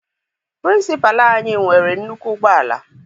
Pịrịnsịpalụ anyị nwere nnukwu ụgbọala.